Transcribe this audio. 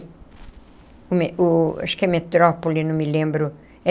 O o acho que é metrópole, não me lembro.